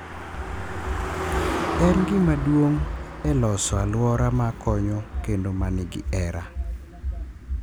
En gima duong’ e loso alwora ma konyo kendo ma nigi hera